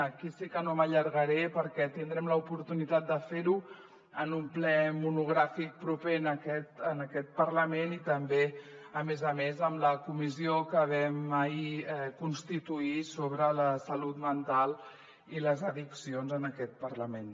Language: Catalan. aquí sí que no m’allargaré perquè tindrem l’oportunitat de fer ho en un ple monogràfic proper en aquest parlament i també a més a més en la comissió que vam ahir constituir sobre la salut mental i les addiccions en aquest parlament